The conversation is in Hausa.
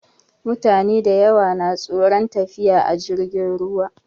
Mutane dayawa na tsoron tafiya da jirgin ruwa